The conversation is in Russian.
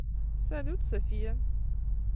салют софия